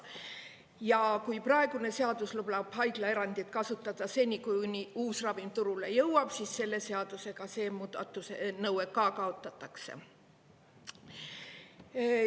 Ja kui praegune seadus lubab haiglaerandit kasutada seni, kuni uus ravim turule jõuab, siis selle seadusega see nõue ka kaotatakse.